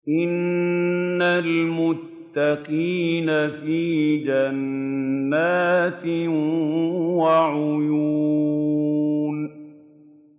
إِنَّ الْمُتَّقِينَ فِي جَنَّاتٍ وَعُيُونٍ